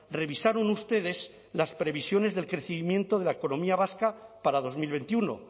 revisaron ustedes las previsiones del crecimiento de la economía vasca para dos mil veintiuno